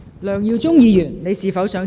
梁耀忠議員，你是否想再次發言？